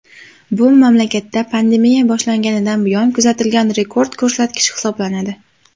Bu mamlakatda pandemiya boshlanganidan buyon kuzatilgan rekord ko‘rsatkich hisoblanadi.